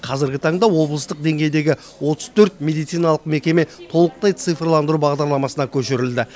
қазіргі таңда облыстық деңгейдегі отыз төрт медициналық мекеме толықтай цифрландыру бағдарламасына көшірілді